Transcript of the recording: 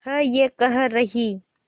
है ये कह रही